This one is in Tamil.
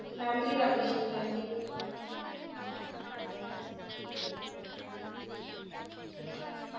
நன்றி ரபிஷ்னி நன்றி கீதா